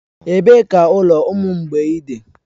Ebee ka ụlọ ụmụ mgbei dị?